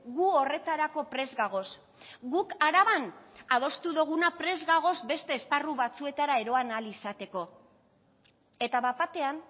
gu horretarako prest gagoz guk araban adostu doguna prest gagoz beste esparru batzuetara eroan ahal izateko eta bat batean